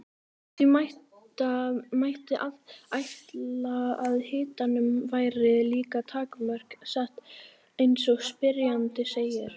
Því mætti ætla að hitanum væri líka takmörk sett eins og spyrjandi segir.